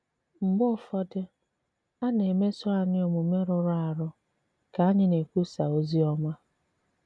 Mgbe ụfọdụ, a na-emèsò ànyị̀ òmùmè rụrụ àrụ̀ ka ànyị̀ na-ekwùsà òzì òmá.